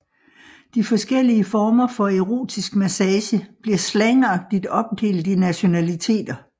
De forskellige former for Erotisk massage bliver slangagtig opdelt i nationaliteter